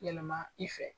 Yɛlɛma i fɛ